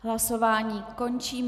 Hlasování končím.